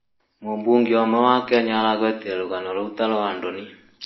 mũbũnge ũmwe wa Kenya aragwetĩre rũgano 'roũ ta rwa thoni'